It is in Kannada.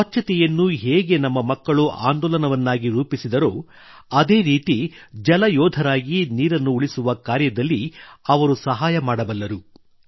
ಸ್ವಚ್ಛತೆಯನ್ನು ಹೇಗೆ ನಮ್ಮ ಮಕ್ಕಳು ಆಂದೋಲನವನ್ನಾಗಿ ರೂಪಿಸಿದರೋ ಅದೇ ರೀತಿ ಜಲ ಯೋಧರಾಗಿ ನೀರನ್ನು ಉಳಿಸುವ ಕಾರ್ಯದಲ್ಲಿ ಅವರು ಸಹಾಯ ಮಾಡಬಲ್ಲರು